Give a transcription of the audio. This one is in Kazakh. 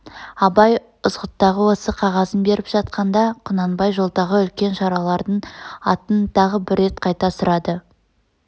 абай ызғұттыға осы қағазын беріп жатқанда құнанбай жолдағы үлкен шаралардың атын тағы бір рет қайта сұрады